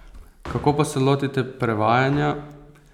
Kako pa se lotite prevajanja?